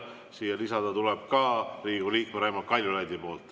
Siia tuleb aga lisada ka Riigikogu liikme Raimond Kaljulaidi nimi.